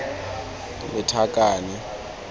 lethakane